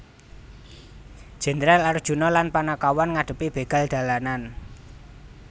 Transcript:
Jendral Arjuna lan Panakawan ngadhepi begal dalanan